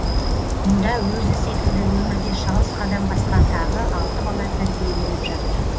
мұнда өзі секілді өмірде шалыс қадам басқан тағы алты бала тәрбиеленіп жатыр